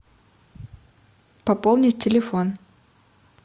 пополнить телефон